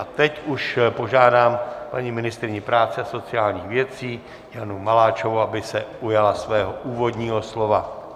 A teď už požádám paní ministryni práce a sociálních věcí Janu Maláčovou, aby se ujala svého úvodního slova.